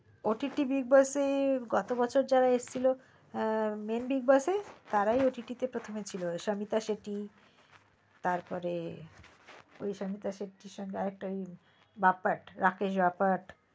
ott big boss গত বছর যারা যারা এসেছিলো main big boss এ তারাই ott তে প্রথমে ছিলো ওই সবিতা শেট্টি সবিতা তার পার সবিতা শেট্টির সঙ্গে আরেক তা ছিল বাপ্পা রাকেশ বাপ্পা